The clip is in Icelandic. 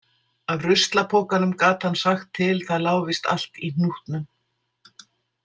Af ruslapokanum gat hann sagt til Það lá víst allt í hnútnum.